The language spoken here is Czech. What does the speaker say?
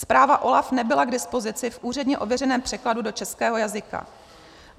Zpráva OLAF nebyla k dispozici v úředně ověřeném překladu do českého jazyka.